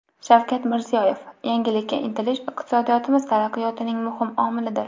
Shavkat Mirziyoyev: Yangilikka intilish iqtisodiyotimiz taraqqiyotining muhim omilidir.